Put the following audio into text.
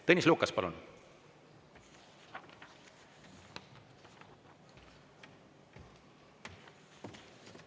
Tõnis Lukas, palun!